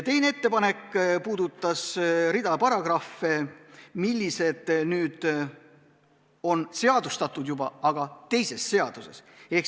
Teine ettepanek puudutas rida sätteid, mis on juba seadustatud, aga teises seaduses.